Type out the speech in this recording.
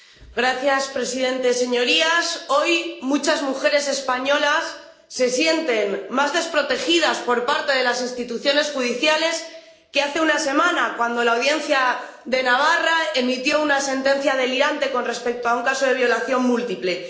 Señor presidente, señorías, hoy muchas mujeres españolas se sienten más desprotegidas por parte de las instituciones judiciales que hace una semana, cuando la Audiencia de Navarra emitió una sentencia delirante con respecto a un caso de violación múltiple.